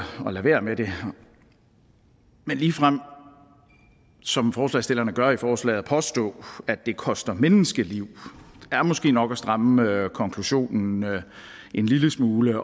lade være med det men ligefrem som forslagsstillerne gør i forslaget at påstå at det koster menneskeliv er måske nok at stramme konklusionen en lille smule